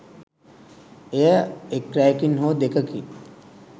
එය එක් රැයකින් හෝ දෙකකින්